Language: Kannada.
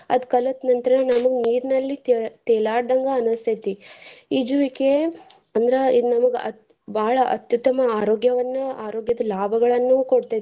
ಅದ್ ಕಲ್ತ ನಂತ್ರ ನಾನು ನೀರಿನಲ್ಲಿ ತೇ~ ತೇಲಾದ್ಡಂಗ ಅನ್ನಸ್ತೇತಿ ಈಜುವಿಕೆ ಅಂದ್ರ ಇದು ನಮ್ಗ ಬಾಳ ಅತ್ಯುತ್ತಮ ಆರೋಗ್ಯವನ್ನ ಆರೋಗ್ಯದ ಲಾಭಗಳನ್ನು ಕೊಡ್ತೇತಿ.